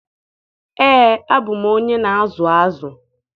Ee, abụ m onye na-azụ azụ